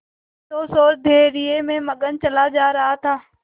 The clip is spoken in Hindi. संतोष और धैर्य में मगन चला जा रहा था